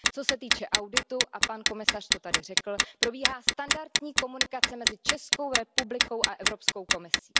Co se týče auditu a pan komisař to tady řekl probíhá standardní komunikace mezi Českou republikou a Evropskou komisí.